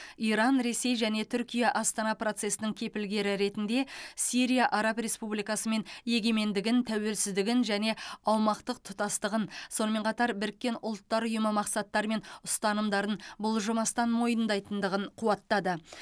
иран ресей және түркия астана процесінің кепілгері ретінде сирия араб республикасымен егемендігін тәуелсіздігін және аумақтық тұтастығын сонымен қатар біріккен ұлттар ұйымы мақсаттары мен ұстанымдарын бұлжымастан мойындайтындығын қуаттады